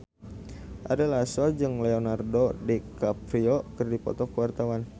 Ari Lasso jeung Leonardo DiCaprio keur dipoto ku wartawan